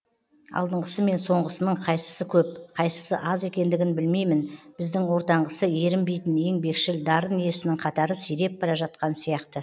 алдыңғысы мен соңғысының қайсысы көп қайсысы аз екендігін білмеймін бізде ортаңғысы ерінбейтін еңбекшіл дарын иесінің қатары сиреп бара жатқан сияқты